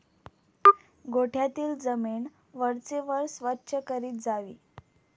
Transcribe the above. गोठ्यातील जमीन वरचेवर स्वच्छ करीत जावी.